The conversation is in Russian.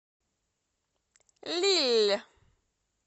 лилль